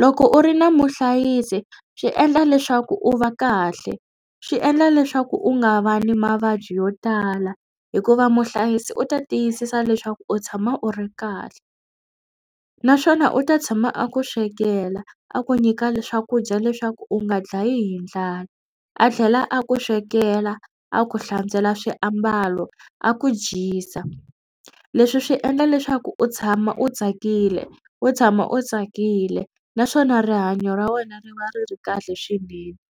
Loko u ri na muhlayisi. Swi endla leswaku u va kahle swi endla leswaku u nga va ni mavabyi yo tala hikuva muhlayisi u ta tiyisisa leswaku u tshama u ri kahle naswona u ta tshama a ku swekela a ku nyika ni swakudya leswaku u nga dlayi hi ndlala a tlhela a ku swekela a ku hlantswela swiambalo a ku dyisa. Leswi swi endla leswaku u tshama u tsakile u tshama u tsakile naswona rihanyo ra wena ri va ri ri kahle swinene.